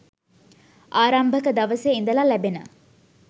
ආරම්භක දවසේ ඉදලා ලැබෙන